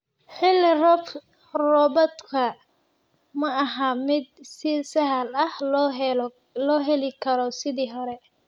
Xilli roobaadka ma aha mid si sahal ah loo heli karo sidii hore.